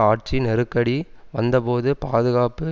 ஆட்சி நெருக்கடி வந்தபோது பாதுகாப்பு